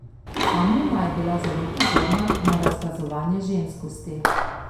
Amuma je bila zelo pozorna na razkazovanje ženskosti.